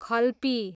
खल्पी